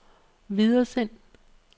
videresend